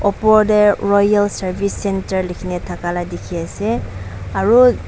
upar teh royal service centre likhi ni thaka lai dikhi ase aru.